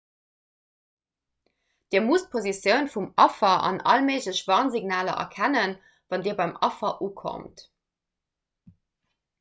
dir musst d'positioun vum affer an all méiglech warnsignaler erkennen wann dir beim affer ukommt